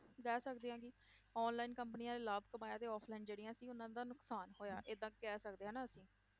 ਕਹਿ ਸਕਦੇ ਹਾਂ ਕਿ online ਕੰਪਨੀਆਂ ਨੇ ਲਾਭ ਕਮਾਇਆ ਤੇ offline ਜਿਹੜੀਆਂ ਸੀ, ਉਹਨਾਂ ਦਾ ਨੁਕਸਾਨ ਹੋਇਆ ਏਦਾਂ ਕਹਿ ਸਕਦੇ ਹਾਂ ਨਾ ਅਸੀਂਂ।